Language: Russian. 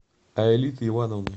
аэлиты ивановны